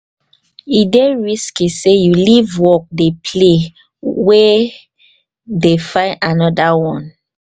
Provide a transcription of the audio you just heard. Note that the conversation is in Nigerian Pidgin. e dey risky sey you leave work dey play wey dey find anoda one.